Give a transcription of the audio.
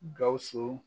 Gawusu